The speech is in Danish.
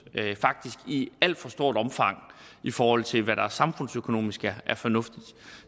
faktisk i alt for stort omfang i forhold til hvad der samfundsøkonomisk er fornuftigt